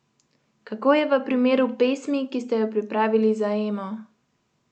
Kako je v primeru pesmi, ki ste jo pripravili za Emo?